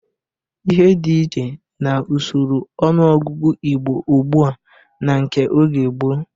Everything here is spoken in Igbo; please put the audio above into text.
Ihe dị iche n'usoro ọnụọgụgụ Igbo ugbu a na nke oge gboo.